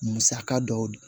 Musaka dɔw